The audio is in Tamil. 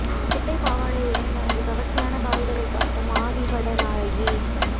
குட்டை பாவாடையுடன் தனது கவர்ச்சியான கால்களை காட்டும் ஆதி பட நாயகி